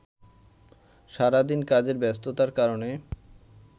সারাদিন কাজের ব্যস্ততার কারণে